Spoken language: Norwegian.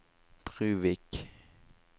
Bruvik